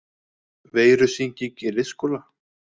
Veirusýking í leikskóla